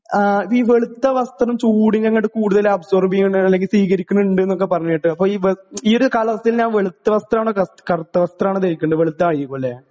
ആ വീ വെളുത്ത വസ്ത്രം ചൂടിനങ്ങട്ട് കൂടുതല് അബ്സോർബീയ്യ്ണേണ് അല്ലെങ്കി സ്വീകരിക്കിണിണ്ട്ന്നൊക്കെ പറീണ കേട്ടു അപ്പൊ ഈ ഈ ഒരു കാലാവസ്ഥയിൽ ഞാൻ വെളുത്ത വസ്ത്രാണോ ക കറുത്ത വസ്ത്രാണോ ധരിക്കണ്ടേ വെളുത്തായിരിക്കുംലെ.